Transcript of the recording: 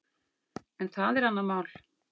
En það er annað mál.